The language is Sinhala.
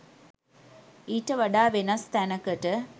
ඊට වඩා වෙනස් තැනකට.